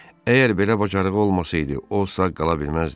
Əgər belə bacarığı olmasaydı, o sağ qala bilməzdi.